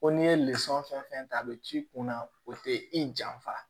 Ko n'i ye fɛn fɛn ta a bɛ k'i kunna o tɛ i janfa